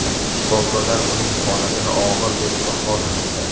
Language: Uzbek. Shifokorlar uning holatini og‘ir deb baholamoqda.